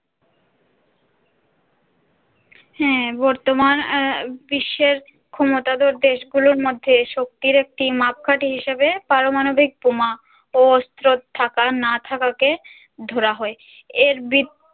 হাঁ বর্তমান আ বিশ্বের ক্ষমতাধর দেশগুলোর মধ্যে শক্তির একটি মাপকাঠি হিসেবে পারমাণবিক বোমা ও অস্ত্র থাকা না থাকাকে ধরা হয় এর ব্রি